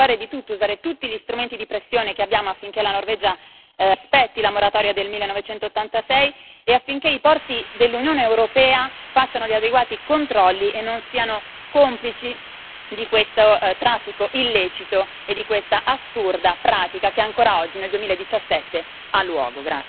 Dobbiamo fare di tutto, usare tutti gli strumenti di pressione che abbiamo, affinché la Norvegia rispetti la moratoria del 1986 e affinché i porti dell'Unione europea facciano gli adeguati controlli e non siano complici di questo traffico illecito e di questa assurda pratica che ancora oggi, nel 2017, ha luogo.